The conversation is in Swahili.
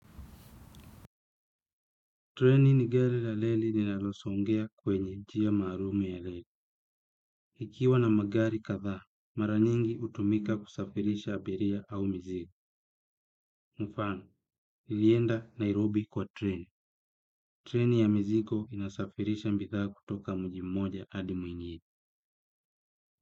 Treni ni gari la reli ninalosongea kwenye njia maalum ya reli. Ikiwa na magari kadhaa, mara nyingi hutumika kusafirisha abiria au mzigo. Mfano, nilienda Nairobi kwa treni. Treni ya mzigo inasafirisha bidhaa kutoka mji moja hadi nyingine.